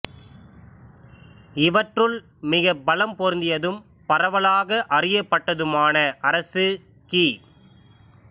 இவற்றுள் மிகப் பலம் பொருந்தியதும் பரவலாக அறியப்பட்டதுமான அரசு கி